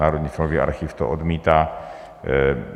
Národní filmový archiv to odmítá.